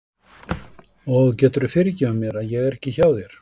Og geturðu fyrirgefið mér að ég er ekki hjá þér?